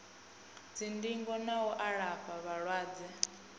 dzindingo na u alafha vhalwadze